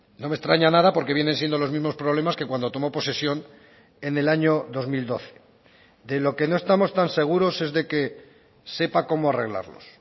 no me extraña nada porque vienen siendo los mismos problemas que cuando tomó posesión en el año dos mil doce de lo que no estamos tan seguros es de que sepa cómo arreglarlos